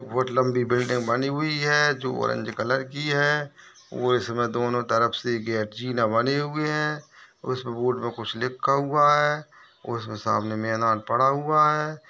बहुत लम्बी बिल्डिंग बनी हुई है जो ऑरेंज कलर की है ओ इसमे दोनों तरफ से गेट बनी हुई है उस बोर्ड पर कुछ लिखा हुआ है उस सामने मैदान पड़ा हुआ है।